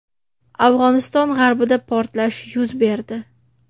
Afg‘oniston g‘arbida portlash yuz berdi.